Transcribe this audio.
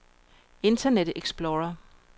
internet explorer